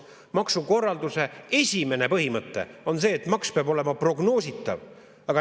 Maksukorralduse esimene põhimõte on see, et maks peab olema prognoositav.